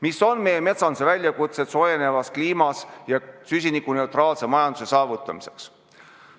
Mis on meie metsanduse väljakutsed seoses soojeneva kliima ja vajadusega saavutada süsinikuneutraalne majandus?